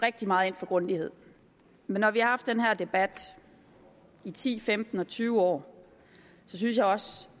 rigtig meget ind for grundighed men når vi har haft den her debat i ti femten og tyve år synes jeg også